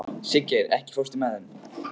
Siggeir, ekki fórstu með þeim?